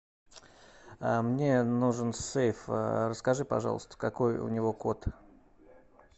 мне нужен сейф расскажи пожалуйста какой у него код